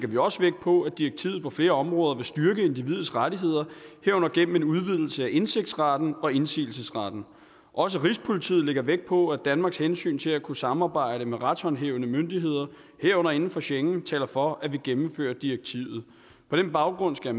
vi også vægt på at direktivet på flere områder vil styrke individets rettigheder herunder gennem en udvidelse af indtægtsretten og indsigelsesretten også rigspolitiet lægger vægt på at danmarks hensyn til at kunne samarbejde med retshåndhævende myndigheder herunder inden for schengen taler for at vi gennemfører direktivet på den baggrund skal